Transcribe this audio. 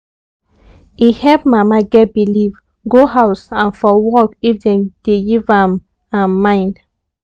e help mama get believe go house and for work if dem dey give am am mind